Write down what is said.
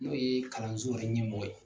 N'o yee kalanso yɛrɛ ɲɛmɔgɔ ye.